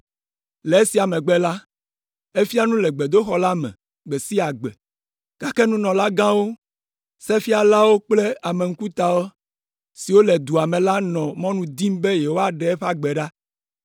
Le esia megbe la, efia nu le gbedoxɔ la me gbe sia gbe, gake nunɔlagãwo, sefialawo kple ame ŋkuta siwo le dua me la nɔ mɔnu dim be yewoaɖe eƒe agbe ɖa.